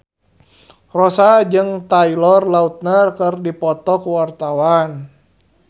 Rossa jeung Taylor Lautner keur dipoto ku wartawan